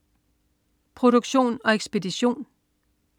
Produktion og ekspedition: